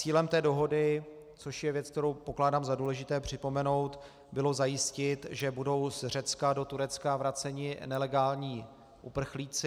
Cílem té dohody, což je věc, kterou pokládám za důležité připomenout, bylo zajistit, že budou z Řecka do Turecka vraceni nelegální uprchlíci.